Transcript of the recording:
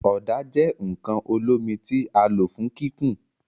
Ọda jẹ nkan olomi ti a lo fun kikun